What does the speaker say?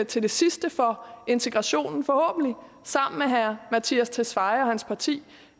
til det sidste for integrationen forhåbentlig sammen med herre mattias tesfaye og hans parti